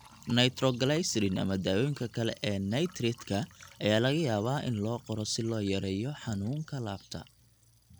Nitroglycerin ama dawooyinka kale ee nitrate-ka ayaa laga yaabaa in loo qoro si loo yareeyo xanuunka laabta.